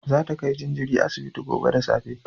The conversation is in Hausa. Za ta kai jinjirin asibiti gobe da safe